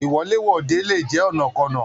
Iwọ̀lèwọ̀de le jẹ ọ̀nàkọnà.